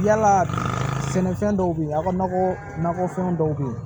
Yala sɛnɛfɛn dɔw be ye a ka nakɔ nakɔfɛn dɔw be yen